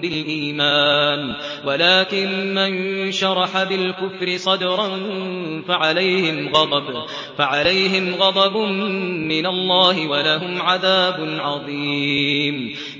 بِالْإِيمَانِ وَلَٰكِن مَّن شَرَحَ بِالْكُفْرِ صَدْرًا فَعَلَيْهِمْ غَضَبٌ مِّنَ اللَّهِ وَلَهُمْ عَذَابٌ عَظِيمٌ